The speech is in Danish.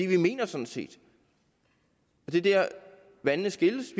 vi mener sådan set og det er dér vandene skilles